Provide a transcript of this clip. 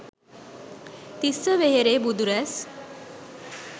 තිස්ස වෙහෙරේ බුදු රැස්